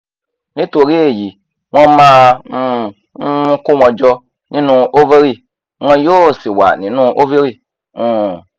nítorí èyí wọ́n máa um ń kó wọn jọ nínú ovary wọn yóò sì wà nínú ovary um